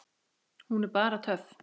Hún er bara töff.